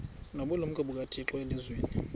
nobulumko bukathixo elizwini